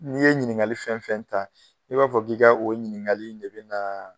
N'i ye ɲiniŋali fɛn fɛn ta i b'a fɔ k'i ka o ɲiniŋali in de be naa